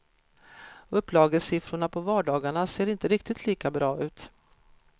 Upplagesiffrorna på vardagarna ser inte riktigt lika bra ut.